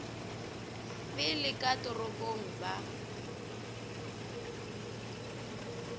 fele ka mo toropong ba